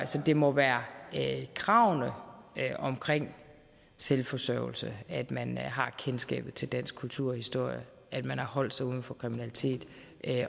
så det må være kravene om selvforsørgelse at man har kendskabet til dansk kultur og historie at man har holdt sig uden for kriminalitet